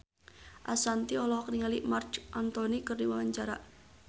Ashanti olohok ningali Marc Anthony keur diwawancara